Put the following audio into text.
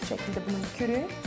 Bu şəkildə bunu tökürük.